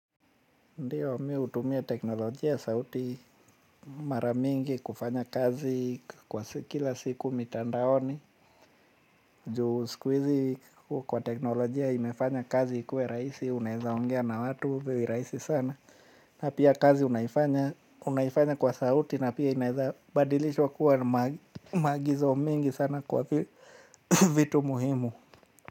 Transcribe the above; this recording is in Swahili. Ndiyo mimi hutumia teknolojia ya sauti mara mingi kufanya kazi kwa kila siku mitandaoni. Juu siku hizi teknolojia imefanya kazi ikuwe rahisi unaweza ongea na watu virahisi sana. Na pia kazi unaifanya kwa sauti na pia inaweza badilishwa kuwa maagizo mengi sana kwa vitu muhimu.